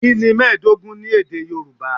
Kí ni mẹ́ẹ̀ẹ́dógún ní èdè Yorùbá?